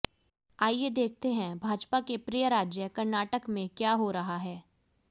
आइये देखते हैं भाजपा के प्रिय राज्य कर्नाटक में क्या हो रहा है